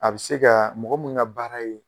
A bi se ka mɔgɔ min ka baara ye